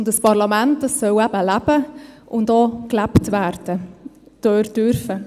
Ein Parlament soll eben leben und auch gelebt werden dürfen.